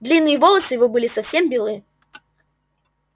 длинные волосы его были совсем белы